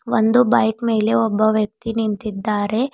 ಒಂದು ಬೈಕ್ ಮೇಲೆ ಒಬ್ಬ ವ್ಯಕ್ತಿ ನಿಂತಿದ್ದಾರೆ.